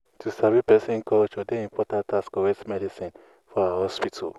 um to sabi person culture dey important as correct medicine for ah hospital.